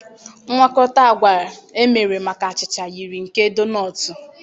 Mgwakota agwa emere maka achịcha yiri nke donọọtụ.